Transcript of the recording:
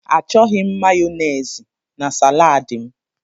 Achọghị m Mayonezi na salad m.